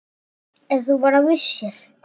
Ef þú bara vissir.